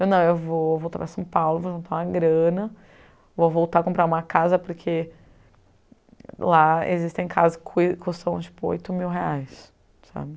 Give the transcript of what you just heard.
Eu não, eu vou voltar para São Paulo, vou juntar uma grana, vou voltar comprar uma casa porque lá existem casas que custam tipo oito mil reais, sabe?